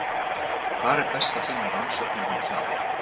Hvar er best að finna rannsóknir um það?